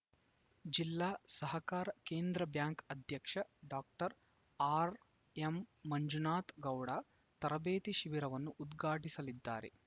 ಜಿಲ್ಲಾ ಸಹಕಾರ ಕೇಂದ್ರ ಬ್ಯಾಂಕ್‌ ಅಧ್ಯಕ್ಷ ಡಾಕ್ಟರ್ ಆರ್‌ಎಂ ಮಂಜುನಾಥ್‌ ಗೌಡ ತರಬೇತಿ ಶಿಬಿರವನ್ನು ಉದ್ಘಾಟಿಸಲಿದ್ದಾರೆ